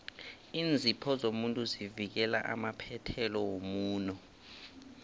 iinzipho zomuntu zivikela amaphethelo womuno